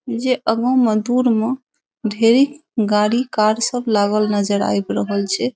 जे एगो मे दूर मे ढेरी गाड़ी कार सब लागल नजर आब रहल छै ।